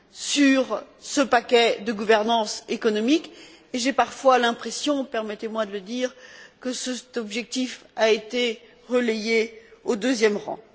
sur ce paquet de gouvernance économique, et j'ai parfois l'impression permettez moi de le dire que cette finalité a été reléguée au deuxième rang.